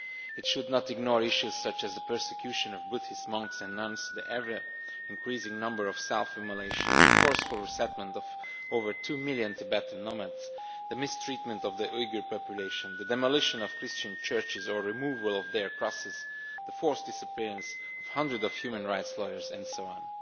It should not ignore issues such as the persecution of Buddhist monks and nuns, the ever increasing number of self immolations, the forceful resettlement of over 2 million Tibetan nomads, the mistreatment of the Uighur population, the demolition of Christian churches or removal of their crosses, the forced disappearance of hundreds of human rights lawyers and so on.